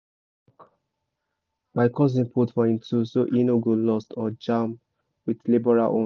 my cousin put for him tools so e no go lost or jam with labourer own